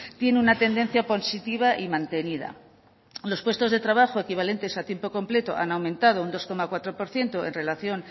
tiene una tendencia positiva y mantenida los puestos de trabajo equivalentes a tiempo completo han aumentado un dos coma cuatro por ciento en relación